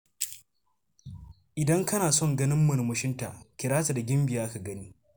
Idan kana son ganin murmushinta, kira ta da Gimbiya ka gani.